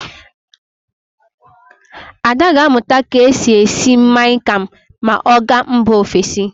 Ada ga-amụta ka e si esi Mian kam ma ọ gaa mba ofesi.